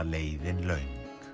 leiðin löng